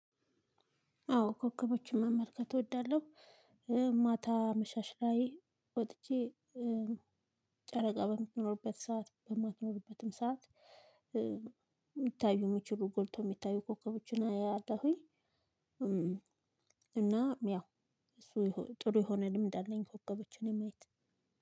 አዎ ኮከቦችን መመልከት እወዳለው። ማታ አመሻሽ ላይ ወጥቼ ጨረቃ በምትኖርበት ሰዓት በማትኖርበትም ሰዓት ሚታዩ ሚችሉ ጎልቶ የሚታዩ ኮከቦችን አያለሁኝ። እና ያው እሱ ጥሩ የሆነ ልምድ አለኝ። ኮከቦችን የማየት